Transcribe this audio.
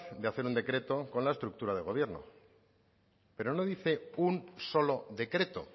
de hacer un decreto con la estructura de gobierno pero no dice un solo decreto